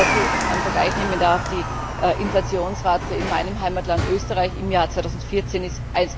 Wenn ich dazu einen Vergleich nehmen darf Die Inflationsrate in meinem Heimatland Österreich im Jahr 2014 ist